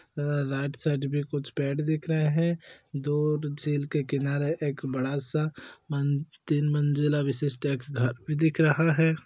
Right side भी कुछ पेड़ दिख रहे हैं दो झील के किनारे एक बड़ा सा मन तीन मंजिला विशिष्ट एक घर भी दिख रहा है।